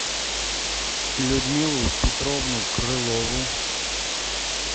людмилу петровну крылову